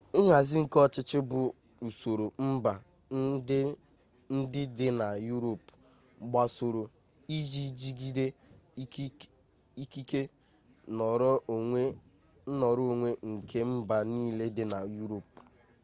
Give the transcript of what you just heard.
nhazi ike ọchịchị bụ usoro mba ndị dị na yuropu gbasoro iji jigide ikike nnọrọonwe nke mba niile dị na yuropu